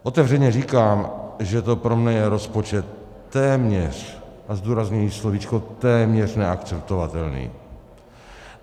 Otevřeně říkám, že to pro mě je rozpočet téměř - a zdůrazňuji slovíčko téměř - neakceptovatelný.